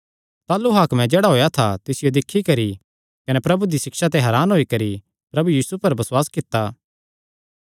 ताह़लू हाकमे जेह्ड़ा होएया था तिसियो दिक्खी करी कने प्रभु दी सिक्षा ते हरान होई करी प्रभु यीशु पर बसुआस कित्ता